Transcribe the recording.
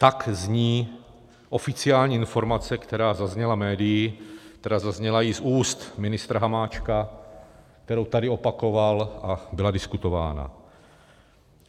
Tak zní oficiální informace, která zazněla médii, která zazněla i z úst ministra Hamáčka, kterou tady opakoval a byla diskutována.